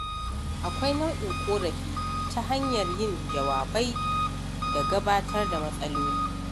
Akwai nau'in ƙorafi ta hanyar yin jawabai da gabatar da matsaloli.